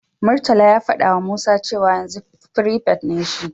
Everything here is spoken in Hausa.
Murtala ya fadawa Musa cewa yanzu firifet ne shi.